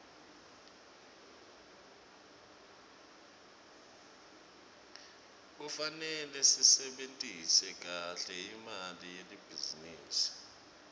kufarele sisebentise kahle imali yelibhizinisi